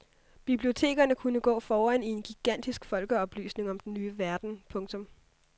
Bibliotekerne kunne gå foran i en gigantisk folkeoplysning om den ny verden. punktum